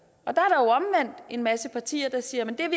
og en masse partier siger at det er